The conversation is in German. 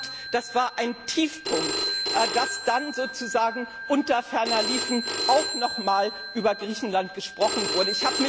Ich fand, das war ein Tiefpunkt, dass dann sozusagen unter ferner liefen auch noch einmal über Griechenland gesprochen wurde.